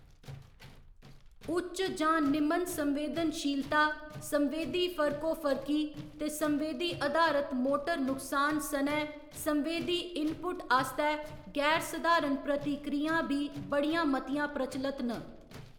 उच्च जां निमन संवेदनशीलता, संवेदी फर्कोफर्की, ते संवेदी अधारत मोटर नुकसान सनै संवेदी इनपुट आस्तै गैर सधारण प्रतिक्रियां बी बड़ियां मतियां प्रचलत न।